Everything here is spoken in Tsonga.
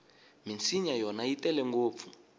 minsinya yona yi tele ngopfu